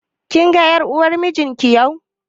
Kin ga ƴar uwar mijin ki yau?